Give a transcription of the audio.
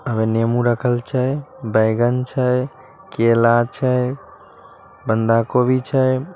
अमें नेमु रखल छै बैंगन छै केला छै बंधा गोभी छय।